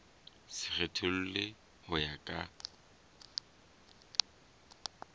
se kgethollwe ho ya ka